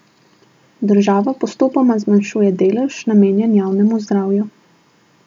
Država postopoma zmanjšuje delež, namenjen javnemu zdravju.